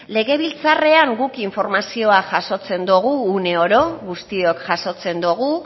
legebiltzarrean guk informazioa jasotzen dugu uneoro guztiok jasotzen dugu